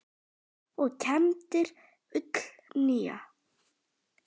og kembir ull nýja.